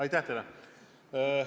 Aitäh teile!